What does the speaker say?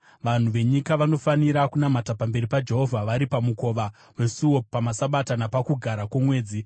Vanhu venyika vanofanira kunamata pamberi paJehovha vari pamukova wesuo pamaSabata napaKugara kwoMwedzi.